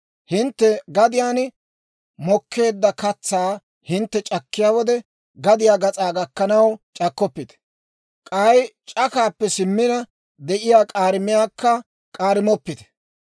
« ‹Hintte gadiyaan mokkeedda katsaa hintte c'akkiyaa wode, gadiyaa gas'aa gakkanaw c'akkoppite; k'ay c'akaappe simmina de'iyaa k'aarimiyaakka k'aarimoppite.